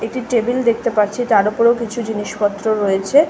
একটি টেবিল দেখতে পাচ্ছি তার ওপরও কিছু জিনিসপত্র রয়েছে।